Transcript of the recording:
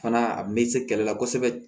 Fana a me se kɛlɛ la kosɛbɛ